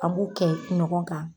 A' b'u kɛ ɲɔgɔn kan